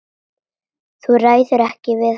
Þú ræður ekkert við hann.